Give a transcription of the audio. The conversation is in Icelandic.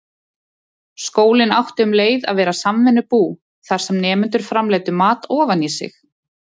Skólinn átti um leið að vera samvinnubú, þar sem nemendur framleiddu mat ofan í sig.